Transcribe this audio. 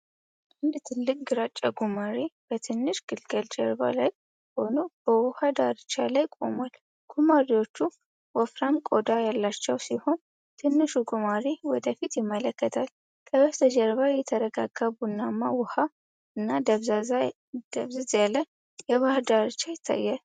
አንድ ትልቅ ግራጫ ጉማሬ በትንሽ ግልገሉ ጀርባ ላይ ሆኖ በውሃ ዳርቻ ላይ ቆሟል። ጉማሬዎቹ ወፍራም ቆዳ ያላቸው ሲሆን፣ ትንሹ ጉማሬ ወደ ፊት ይመለከታል። ከበስተጀርባ የተረጋጋ ቡናማ ውሃ እና ደብዘዝ ያለ የባህር ዳርቻ ይታያል።